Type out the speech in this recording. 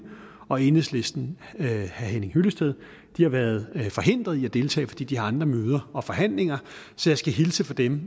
og enhedslistens herre henning hyllested har været forhindret i at deltage fordi de har andre møder og forhandlinger så jeg skal hilse fra dem